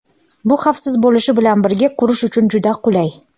Bu xavfsiz bo‘lishi bilan birga qurish uchun juda qulay.